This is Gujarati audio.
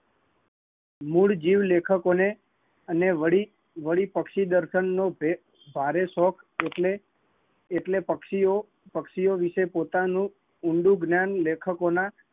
મૂળ જીવ લેખકો ને અને વળી પક્શીદારખંડ નો ભારે શોખ એટલે પક્ષીઓ વિષે પોતાનું ઊંડું જ્ઞાન લેખકો ના